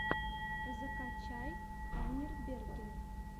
закачай танирберген